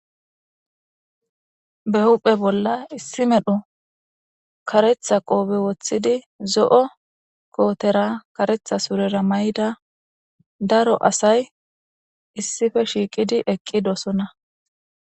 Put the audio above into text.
Ba huphphe bolla issi medhdho kareththa qobbe woththidi zo'o kottera kareththa surrera mayidda daro asayi issippe shiqqidi eqqidosona.